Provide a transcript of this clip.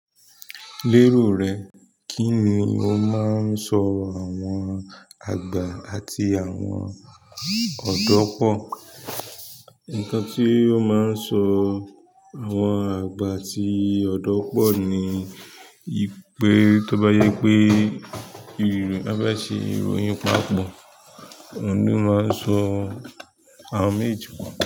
Lérò rẹ, kí ni ó ma ń so àwọn àgbà àti àwọn ọ̀dọ́ pọ̀? Nǹkan tí ó máa ń sọ àwọn àgbà àti ọ̀dọ́ pọ̀ ni wípé tó bá jẹ́ pé —wọ́n bá ṣe ìròyìn papọ̀, òun ni ó ma ń so àwọn méjèèjì papọ̀